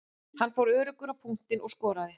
Hann fór öruggur á punktinn og skoraði.